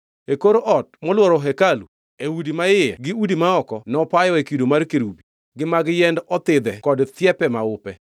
E kor ot molworo hekalu, e udi ma iye gi udi ma oko, nopayoe kido mar kerubi, gi mag yiend othidhe kod thiepe maupe.